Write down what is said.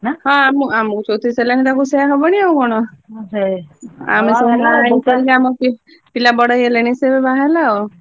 ହଁ ଆମ ଆମକୁ ଚଉତିରିଶ ହେଲାଣି ତାକୁ ସେଇଆ ହବଣି ଆଉ, ଆମେ ସବୁ ବାହାହେଇ ସାରିକି ଆମ ପିଲା ପିଲା ବଡ ହେଇଗଲେଣି ସେ ଏବେ ବାହା ହେଲା ଆଉ।